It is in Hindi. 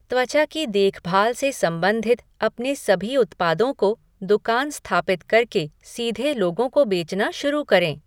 त्वचा की देखभाल से सम्बंधित अपने सभी उत्पादों को, दुकान स्थापित कर के सीधे लोगों को बेचना शुरू करें।